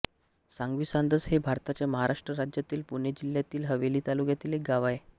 सांगवीसांदस हे भारताच्या महाराष्ट्र राज्यातील पुणे जिल्ह्यातील हवेली तालुक्यातील एक गाव आहे